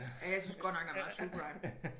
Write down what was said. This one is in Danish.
Ja jeg synes godt nok der er meget true crime